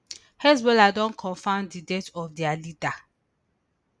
hezbollah don confam di death of dia leader